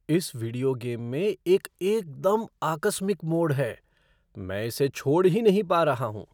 इस video game में एक एकदम आकस्मिक मोड़ है। मैं इसे छोड़ ही नहीं पा रहा हूँ।